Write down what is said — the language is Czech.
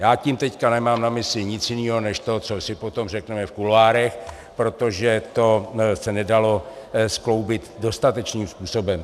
Já tím teď nemám na mysli nic jiného než to, co si potom řekneme v kuloárech, protože to se nedalo skloubit dostatečným způsobem.